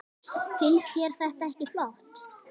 Finnst þér þetta ekki flott?